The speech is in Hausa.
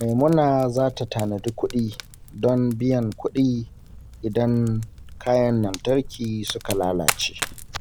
Maimuna za ta tanadi kuɗi don biyan kudi idan kayan lantarki suka lalace.